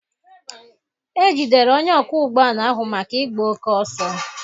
E jidere onye ọkwọ ụgbọ ala ahụ maka igba oke oso.